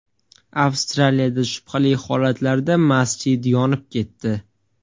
Avstraliyada shubhali holatlarda masjid yonib ketdi.